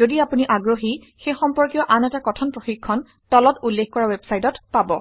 যদি আপুনি আগ্ৰহী সেই সম্পৰ্কীয় আন এটা কথন প্ৰশিক্ষণ তলত উল্লেখ কৰা ৱেবচাইটত পাব